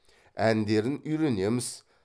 әндерін үйренеміз